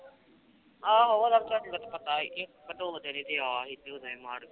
ਆਹੋ ਉਹਦਾ ਤਾ ਵਿਚਾਰੀ ਦਾ ਪਤਾ ਏ